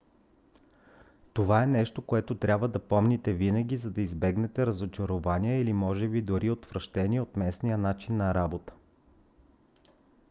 това е нещо което трябва да помните винаги за да избегнете разочарование или може би дори отвращение от местния начин на работа